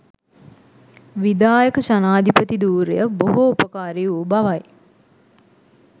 විධායක ජනාධිපති ධූරය බොහෝ උපකාරී වූ බවයි